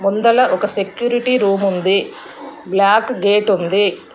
ముందల ఒక security room ఉంది బ్లాక్ గేట్ ఉంది.